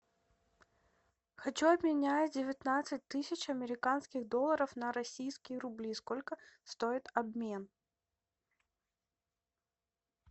хочу обменять девятнадцать тысяч американских долларов на российские рубли сколько стоит обмен